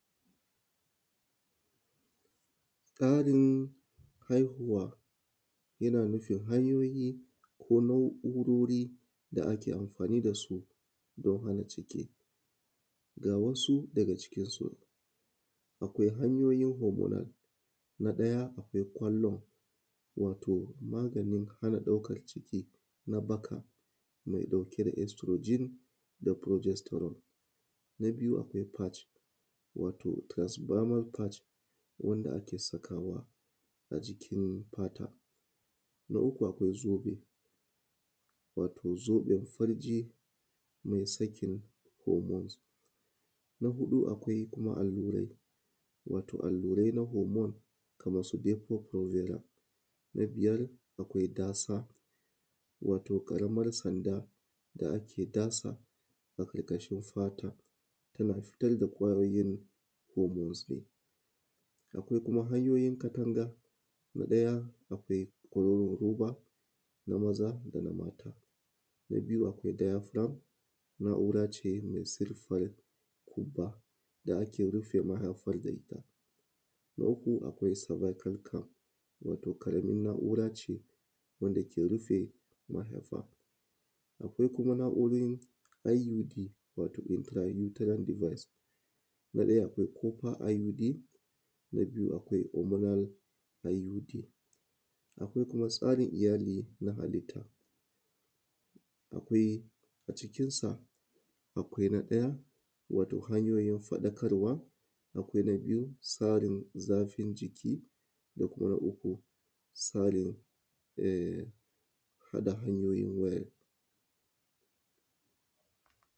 Karin haihuwa yana nufin hanyoyi ko na’urori wanda ake amfani da su don farin ciki. Ga wasu daga cikinsu, akwai hanyoyin hormonal na ɗaya akwai kwallon wato maganin ɗaukan ciki na baka mai ɗauke da asturojin da kururistarun, na biyu akwai parce wato transfamal branch wanda ake sakawa a jikin fata, na uku akwai zobe wato zoɓin farji mai sakin hormons, na huɗu akwai kuma allurai wato allurai na hormones kaman su beto, huzila, na biyar akwai dasa wato ƙaraman sanda sa ake sada a ƙarƙashin fata tana fitar da ƙwayoyin hormons. Akwai kuma hanyoyin katanga ɗaya, akwai kwaroron roba na maza, na biyu akwai ɗaya plug.